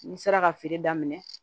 N sera ka feere daminɛ